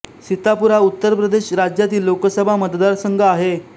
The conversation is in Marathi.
सीतापूर हा उत्तर प्रदेश राज्यातील लोकसभा मतदारसंघ आहे